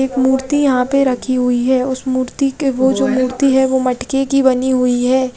एक मूर्ति यहाँ पे रखी हुई है उस मूर्ति के वो जो मूर्ति है वो मटके की बनी हुई है।